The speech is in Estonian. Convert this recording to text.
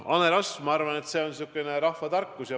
Mis puutub hanerasva, siis see on vana rahvatarkus.